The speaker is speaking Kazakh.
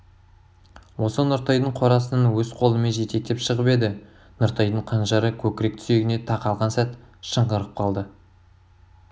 осы нұртайдың қорасынан өз қолымен жетектеп шығып еді нұртайдың қанжары көкірек сүйегіне тақалған сәт шыңғырып қалды